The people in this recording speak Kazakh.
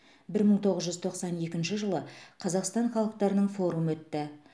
бір мың тоғыз жүз тоқсан екінші жылы қазақстан халықтарының форумы өтті